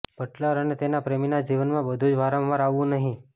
Buttler અને તેના પ્રેમીના જીવનમાં બધું જ વારંવાર આવવું નહીં